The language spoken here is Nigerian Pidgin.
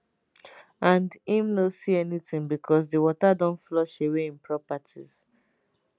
and im no see anytin becos di water don flush away im properties